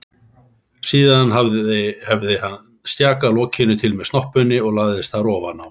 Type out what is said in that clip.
Síðan hefði hann stjakað lokinu til með snoppunni og lagst þar ofan á.